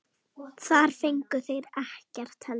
Þar fengu þeir ekkert heldur.